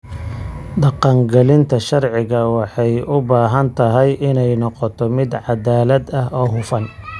Dhaqangelinta sharciga waxay u baahan tahay inay noqoto mid cadaalad ah oo hufan.